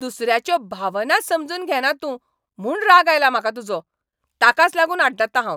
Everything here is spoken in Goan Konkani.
दुसऱ्याच्यो भावनाच समजून घेना तूं म्हूण राग आयला म्हाका तुजो. ताकाच लागून आड्डतां हांव.